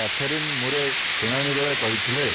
Katherine Murray ଶୁଣାଣି ବେଳେ କହିଥିଲେ